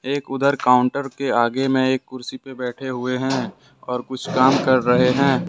एक उधर काउंटर के आगे में एक कुर्सी पे बैठे हुए हैं और कुछ काम कर रहे हैं।